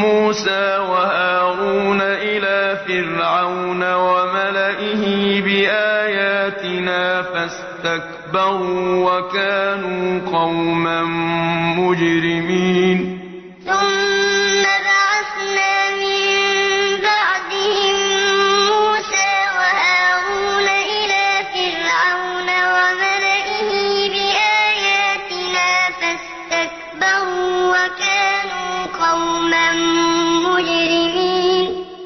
مُّوسَىٰ وَهَارُونَ إِلَىٰ فِرْعَوْنَ وَمَلَئِهِ بِآيَاتِنَا فَاسْتَكْبَرُوا وَكَانُوا قَوْمًا مُّجْرِمِينَ ثُمَّ بَعَثْنَا مِن بَعْدِهِم مُّوسَىٰ وَهَارُونَ إِلَىٰ فِرْعَوْنَ وَمَلَئِهِ بِآيَاتِنَا فَاسْتَكْبَرُوا وَكَانُوا قَوْمًا مُّجْرِمِينَ